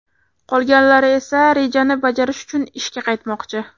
Qolganlari esa rejani bajarish uchun ishga qaytmoqchi.